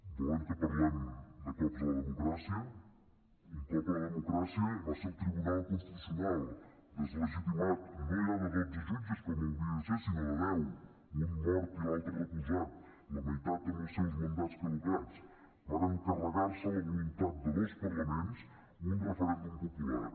volen que parlem de cops a la democràcia un cop a la democràcia va ser el tribunal constitucional deslegitimat no ja de dotze jutges com hauria de ser sinó de deu un mort i l’altre recusat la meitat amb els seus mandats caducats varen carregar se la voluntat de dos parlaments un referèndum popular